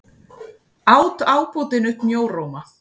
át ábótinn upp mjóróma.